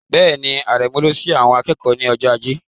Bẹ́ẹ̀ni, Aremeu lọ sí àwọn ìkẹ́kọ̀ọ́ ní ọjọ́ Ajé.